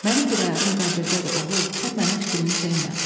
Mənim bir ayağım qəbirdədir, oğul, sən mənim fikrimi çəkmə.